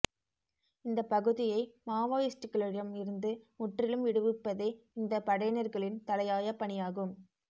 இந்தப் பகுதியை மாவோயிஸ்ட்களிடம் இருந்து முற்றிலும் விடுவிப்பதே இந்த படையினர்களின் தலையாய பணியாகும்